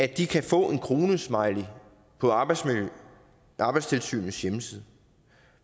kan få en kronesmiley på arbejdstilsynets hjemmeside